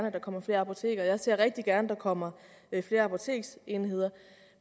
at der kommer flere apoteker jeg ser rigtig gerne at der kommer flere apoteksenheder